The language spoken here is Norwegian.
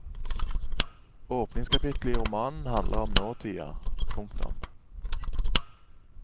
Åpningskapitlet i romanen handler om nåtida. punktum